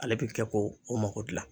Ale bɛ kɛ ko o mako dilan